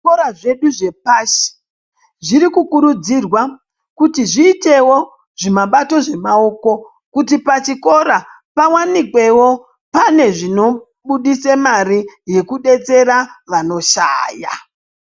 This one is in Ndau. Zvikora zvedu zvepashi zviri kukurudzirwa kuti zviitewo zvimabato zvemaoko kuti pachikora pawanikwewo pane zvinobudisa mare yekudetsera vanoshaya.